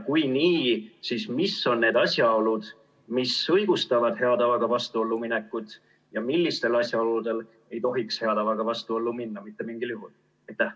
Kui jah, siis mis on need asjaolud, mis õigustavad hea tavaga vastuollu minekut, ja millistel asjaoludel ei tohiks hea tavaga vastuollu minna mitte mingil juhul?